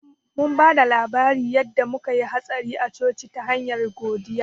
Mun ba da labarin yanda muka ya hatsari a coci ta hanyar godiya